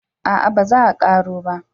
a'a ba za a karo ba